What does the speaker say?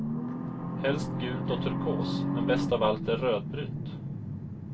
Helst gult och turkos, men bäst av allt är rödbrunt.